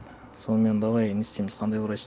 сонымен давай не істейміз қандай врач